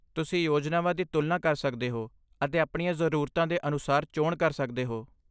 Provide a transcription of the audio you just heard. ਤੁਸੀਂ ਯੋਜਨਾਵਾਂ ਦੀ ਤੁਲਨਾ ਕਰ ਸਕਦੇ ਹੋ ਅਤੇ ਆਪਣੀਆਂ ਜ਼ਰੂਰਤਾਂ ਦੇ ਅਨੁਸਾਰ ਚੋਣ ਕਰ ਸਕਦੇ ਹੋ।